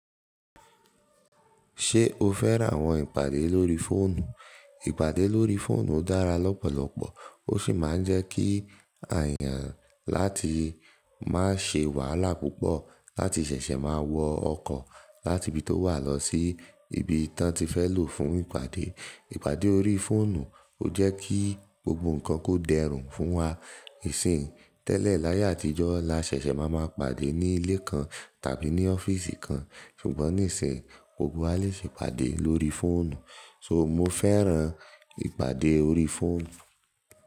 Ṣé o fẹ́ran àwọn ìpàdé lórí fóònù? Ìpàdé lórí fóònù dára lọ́pọ̀lọpọ̀ ó sì máa ń jẹ́ kí à yán láti máa ṣe wàhálà púpọ̀ láti ṣẹ̀ṣẹ̀ máa wọ ọkọ̀ láti ibi tó wà lọ sí ibi tí wọ́n ti fẹ́ lò fún ìpàdé. Ìpàdé órí fóònù ó jẹ́ kí gbogbo nǹkan kó dẹrùn fún wa. Ìsìn tẹ́lẹ̀ láyé àtijọ́ la ṣẹ̀ṣẹ̀ máa ma pàdé ní ilé kan tàbí ní ọ́fíìsì kan ṣùgbọ́n níìsín gbogbo wa le ṣe ìpàdé lórí fóònù. Nitori na mo fẹ́ran ìpàdé lórí fóònù.